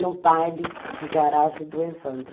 No baile de garagem do Evandro.